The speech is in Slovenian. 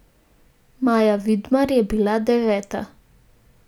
Maja Vidmar je bila deveta.